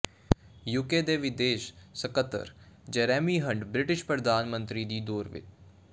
UK ਦੇ ਵਿਦੇਸ਼ ਸਕੱਤਰ ਜੈਰੇਮੀ ਹੰਟ ਬ੍ਰਿਟਿਸ਼ ਪ੍ਰਧਾਨ ਮੰਤਰੀ ਦੀ ਦੌੜ ਵਿ